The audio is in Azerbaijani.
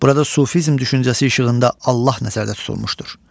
Burada sufizm düşüncəsi işığında Allah nəzərdə tutulmuşdur.